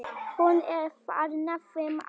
Hún er þarna fimm ára.